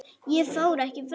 Ég fór ekki fram.